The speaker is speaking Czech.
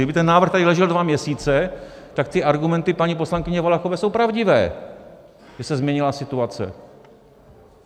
Kdyby ten návrh tady ležel dva měsíce, tak ty argumenty paní poslankyně Valachové jsou pravdivé, že se změnila situace!